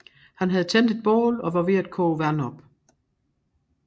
Han havde tændt et bål og var ved at koge vand op